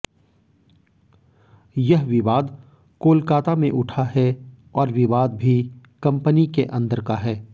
यह विवाद कोलकाता में उठा है और विवाद भी कंपनी के अंदर का है